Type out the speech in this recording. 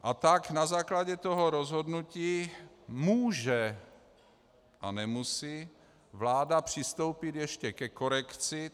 A tak na základě toho rozhodnutí může a nemusí vláda přistoupit ještě ke korekci.